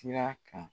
Sira kan